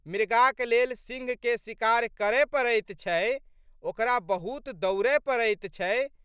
मृगाक लेल सिंहके शिकार करए पड़ैत छै, ओकरा बहुत दौड़ए पड़ैत छै।